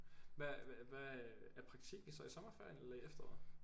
Hvad hvad øh er praktikken så i sommerferien eller i efteråret?